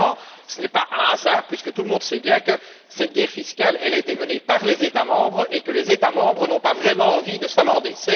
Évidemment, ce n'est pas un hasard, puisque tout le monde sait bien que cette guerre fiscale a été menée par les États membres et que ceux ci n'ont pas vraiment envie de s'amender